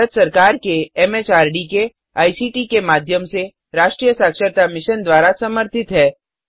यह भारत सरकार एमएचआरडी के आईसीटी के माध्यम से राष्ट्रीय साक्षरता मिशन द्वारा समर्थित है